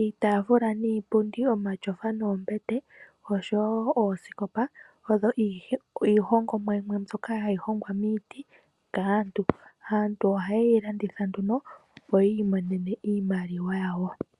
Iitaafula niipundi, omatyofa noombete, osho wo oosikopa oyo iihongomwa yimwe mbyoka hayi hongwa miiti kaantu. Aantu ohaye yi landitha nduno, opo yi ilongele iimaliwa yawo.